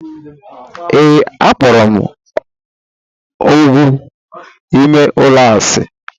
Ee, akpọrọ m ógwù ime ụlọ asị.